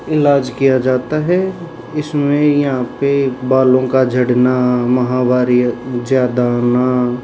इलाज किया जाता है इसमें यहां पे बालों का झड़ना माहवारी ज्यादा आना--